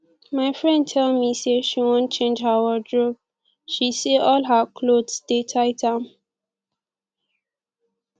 my friend tell me say she wan change her wardrobe she say all her cloth dey tight am